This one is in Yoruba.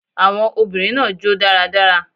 Awon obìnrin naa jo daradara